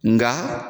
Nga